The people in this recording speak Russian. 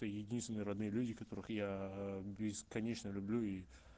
единственные родные люди которых я бесконечно люблю и